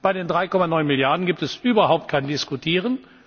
Bei den 3,9 Milliarden gibt es überhaupt kein Diskutieren.